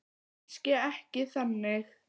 Kannski ekki þannig.